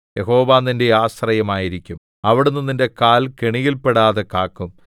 യഹോവ നിന്റെ ആശ്രയമായിരിക്കും അവിടുന്ന് നിന്റെ കാൽ കെണിയിൽപ്പെടാതെ കാക്കും